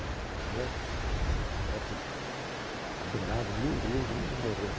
né Uns copos dourados, lindos, lindos lindo de morrer.